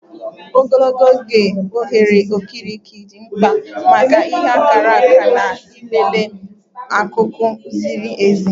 Ogologo oge, oghere okirikiri dị mkpa maka ịka akara na ịlele akụkụ ziri ezi.